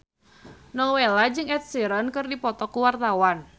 Nowela jeung Ed Sheeran keur dipoto ku wartawan